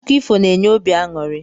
Akụkọ ifo na-enye obi anụri.